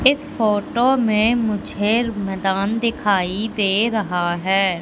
इस फोटो में मुझे मैदान दिखाई दे रहा है।